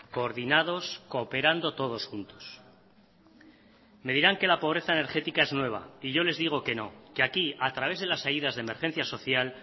coordinados cooperando todos juntos me dirán que la pobreza energética es nueva y yo les digo que no que aquí a través de las ayudas de emergencia social